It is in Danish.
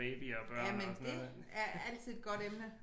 Jamen det er altid et godt emne